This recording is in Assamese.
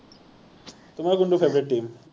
তোমাৰ কোনটো favorite team